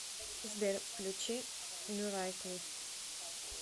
сбер включи мирайкл